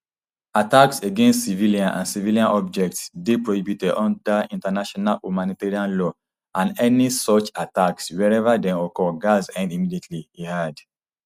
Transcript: attacks against civilians and civilian objects dey prohibited under international humanitarian law and any such attacks wherever dem occur gatz end immediately e add